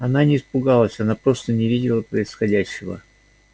она не испугалась она просто не видела происходящего